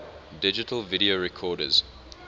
digital video recorders